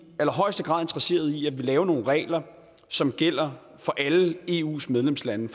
allerhøjeste grad interesseret i at vi laver nogle regler som gælder for alle eus medlemslande